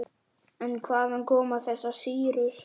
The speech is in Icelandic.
En hvaðan koma þessar sýrur?